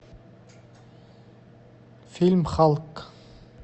фильм халк